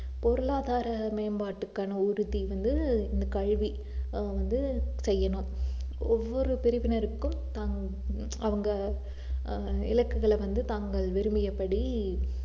பொருளாதார மேம்பாட்டுக்கான உறுதி வந்து இந்த கல்வி ஆஹ் வந்து செய்யணும் ஒவ்வொரு பிரிவினருக்கும் ஆஹ் அவங்க ஆஹ் இலக்குகள் வந்து தாங்கள் விரும்பியபடி